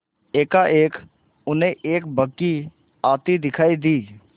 एकाएक उन्हें एक बग्घी आती दिखायी दी